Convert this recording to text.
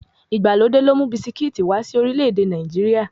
Ìgbàlódé ló mú bisikíìtì wá sí orílẹ̀-èdè Nàìjíríà.